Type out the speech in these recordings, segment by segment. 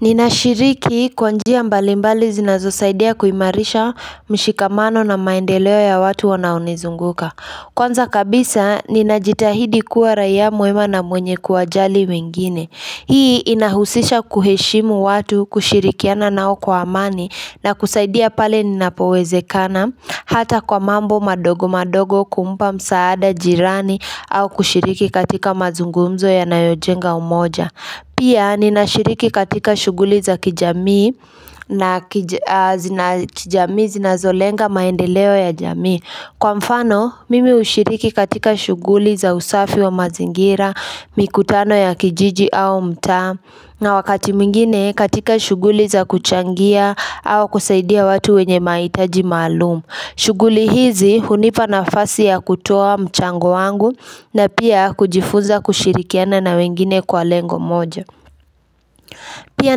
Ninashiriki kwa njia mbalimbali zinazosaidia kuimarisha mshikamano na maendeleo ya watu wanaunizunguka Kwanza kabisa ninajitahidi kuwa raia mwema na mwenye kuwa jali wengine Hii inahusisha kuheshimu watu kushirikiana nao kwa amani na kusaidia pale ninapowezekana Hata kwa mambo madogo madogo kumpa msaada jirani au kushiriki katika mazungumzo yanayojenga umoja Pia ninashiriki katika shughuli za kijamii na kijamii zinazolenga maendeleo ya jamii Kwa mfano mimi ushiriki katika shughuli za usafi wa mazingira, mikutano ya kijiji au mtaa na wakati mwingine katika shughuli za kuchangia au kusaidia watu wenye mahitaji maalum shughuli hizi hunipa nafasi ya kutoa mchango wangu na pia kujifunza kushirikiana na wengine kwa lengo moja Pia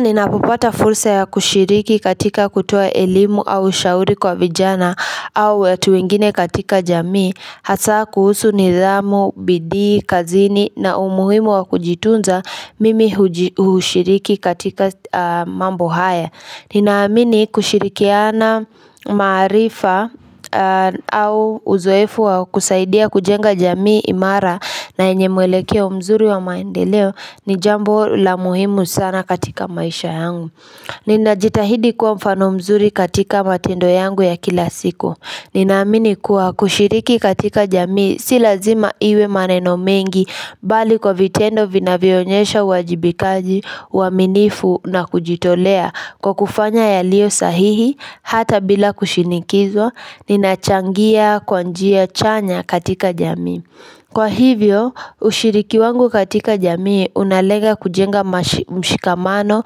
ninapopata fursa ya kushiriki katika kutoa elimu au shauri kwa vijana au watu wingine katika jamii Hasa kuhusu nidhamu, bidii, kazini na umuhimu wa kujitunza mimi hushiriki katika mambo haya Ninaamini kushirikiana maarifa au uzoefu wa kusaidia kujenga jamii imara na yenye mwelekeo mzuri wa maendeleo ni jambo la muhimu sana katika maisha yangu. Ninajitahidi kuwa mfano mzuri katika matendo yangu ya kila siku. Ninaamini kuwa kushiriki katika jamii silazima iwe maneno mengi bali kwa vitendo vinavyonyesha uwajibikaji uwaminifu na kujitolea. Kwa kufanya yalio sahihi, hata bila kushinikizwa, ninachangia, kwa njia, chanya katika jamii. Kwa hivyo, ushiriki wangu katika jamii, unalenga kujenga mshikamano,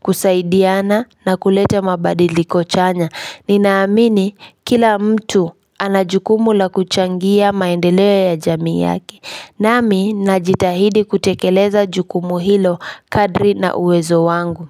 kusaidiana na kulete mabadiliko chanya. Ninaamini, kila mtu ana jukumu la kuchangia maendeleo ya jamii yaki. Nami, najitahidi kutekeleza jukumu hilo kadri na uwezo wangu.